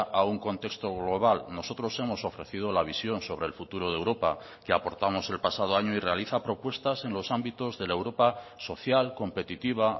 a un contexto global nosotros hemos ofrecido la visión sobre el futuro de europa que aportamos el pasado año y realiza propuestas en los ámbitos de la europa social competitiva